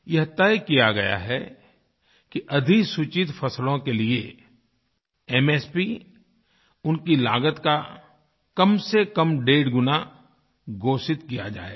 यह तय किया गया है कि अधिसूचित फसलों के लिए एमएसपीउनकी लागत का कमसेकम डेढ़ गुणा घोषित किया जाएगा